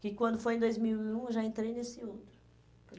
Que quando foi em dois mil e um, eu já entrei nesse outro.